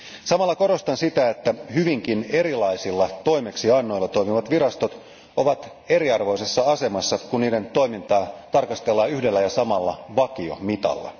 Samalla korostan sitä, että hyvinkin erilaisilla toimeksiannoilla toimivat virastot ovat eriarvoisessa asemassa, kun niiden toimintaa tarkastellaan yhdellä ja samalla vakiomitalla.